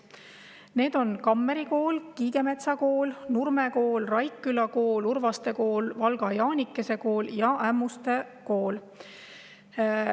Need koolid on Kammeri Kool, Kiigemetsa Kool, Nurme Kool, Raikküla Kool, Urvaste Kool, Valga Jaanikese Kool ja Ämmuste Kool.